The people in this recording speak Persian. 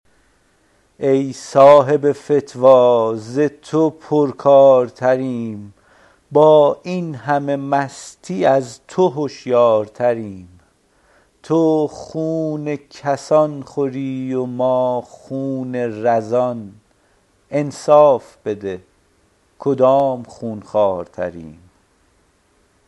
ای صاحب فتوا ز تو پرکارتریم با این همه مستی از تو هشیارتریم تو خون کسان خوری و ما خون رزان انصاف بده کدام خون خوارتریم